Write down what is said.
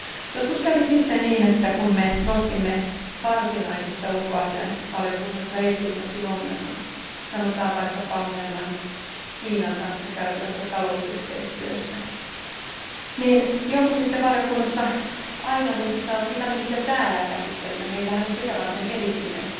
Joskus kävi sitten niin, että kun me nostimme varsinaisessa ulkoasiainvaliokunnassa esiin jonkin ongelman, sanotaan vaikkapa ongelman Kiinan kanssa käytävässä talousyhteistyössä, niin joku sitten valiokunnassa aina muisti sanoa, että mitä me niitä täällä käsittelemme, meillähän on sitä varten erityinen